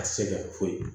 A tɛ sɛgɛn foyi